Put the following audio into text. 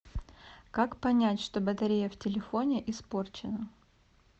как понять что батарея в телефоне испорчена